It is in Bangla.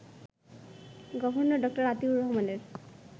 গভর্নর ড. আতিউর রহমানের